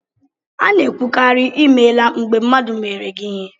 A na-ekwukarị ""I meela" mgbe mmadụ meere gị ihe